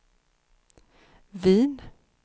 Wien